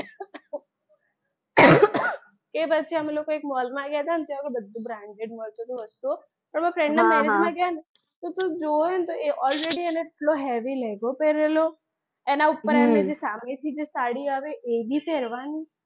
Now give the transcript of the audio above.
એ પછી અમે લોકો એક mall માં ગયાં હતાં ત્યાં તો બધું branded મળતું હતું વસ્તુઓ પણ મારાં friend ના marriage માં ગયાં હા હા ને તો તું જોવે ને તો already એને એટલો heavy લેઘો પેરેલો એનાં ઉપર એમને સામેથી જે સાડી આવે એ બી પહેરવાની.